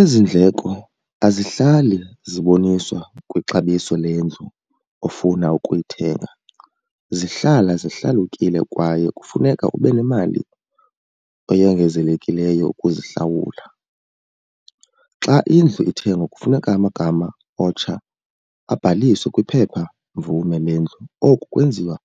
Ezi ndleko azihlali ziboniswa kwixabiso lendlu ofuna ukuyithenga. Zihlala zihlalukile kwaye kufuneka ube nemali eyongezelekileyo ukuzihlawula. Xa indlu ithengwa kufuneka amagama omtsha abhaliswe kwiphephamvume lendlu. Oku kwenziwa